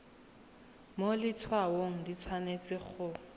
mo letshwaong di tshwanetse go